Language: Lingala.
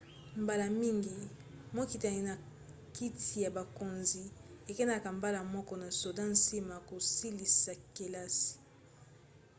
mbala mingi mokitani na kiti ya bokonzi ekendaka mbala moko na soda nsima ya kosilisa kelasi